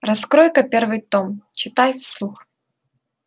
раскрой-ка первый том читай вслух